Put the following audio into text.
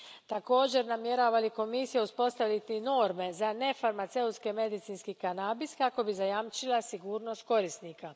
Također, namjerava li Komisija uspostaviti norme za nefarmaceutski medicinski kanabis kako bi zajamčila sigurnost korisnika?